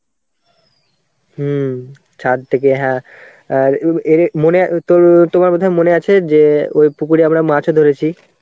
হম ছাদ দেখে হ্যাঁ আর মনে তোর~ তোমার বোধহয় মনে আছে যে ওই পুকুরে আমরা মাছও ধরেছি.